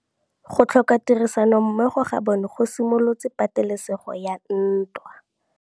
Go tlhoka tirsanommogo ga bone go simolotse patêlêsêgô ya ntwa.